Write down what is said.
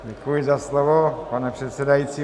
Děkuji za slovo, pane předsedající.